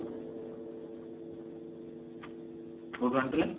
କଉଠୁ ଆଣୁଥିଲେ